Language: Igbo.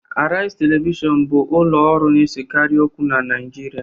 Arise Television bụ ụlọ ọrụ na-esekarị okwu na Naịjirịa